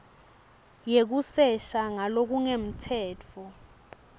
yekusesha ngalokungemtsetfo nobe